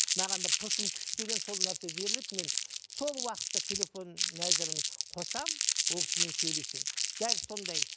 маған бір тылсым күшпенен сол нәрсе беріледі мен сол уақытта телефон мәзірін қосамын ол кісімен сөйлесемін дәл сондай